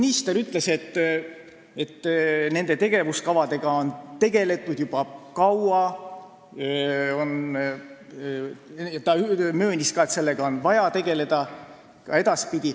Minister ütles, et nende tegevuskavadega on tegeldud juba kaua, ta möönis ka, et nendega on vaja tegelda edaspidigi.